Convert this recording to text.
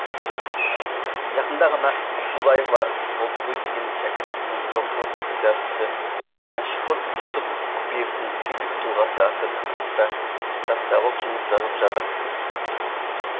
жақында ғана абдуллаева қалдыгүл деген шәкіртімнің докторлық диссертациясы мәшһүр жүсіп көпеевтің тілдік тұлғасы атты тақырыпта диссертациялық жұмыс жазып жатыр